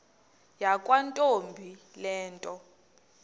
yakwantombi le nto